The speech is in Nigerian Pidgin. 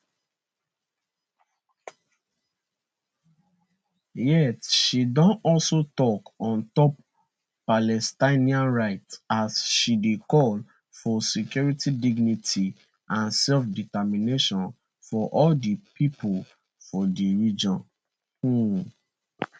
yet she don also tok on top palestinian rights as she dey call for security dignity and selfdetermination for all di pipo for for di region um